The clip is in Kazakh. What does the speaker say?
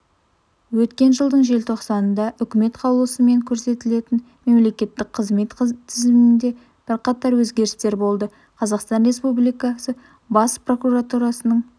өткен жылдың желтоқсанында үкімет қаулысымен көрсетілетін мемлекеттік қызмет тізілімінде бірқатар өзгерістер болды қазақстан республикасы бас прокуратурасының